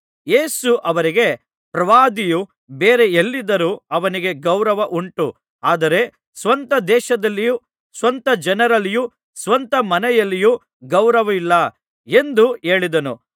ಯೇಸು ಅವರಿಗೆ ಪ್ರವಾದಿಯು ಬೇರೆ ಎಲ್ಲಿದ್ದರೂ ಅವನಿಗೆ ಗೌರವ ಉಂಟು ಆದರೆ ಸ್ವಂತ ದೇಶದಲ್ಲಿಯೂ ಸ್ವಂತ ಜನರಲ್ಲಿಯೂ ಸ್ವಂತ ಮನೆಯಲ್ಲಿಯೂ ಗೌರವವಿಲ್ಲ ಎಂದು ಹೇಳಿದನು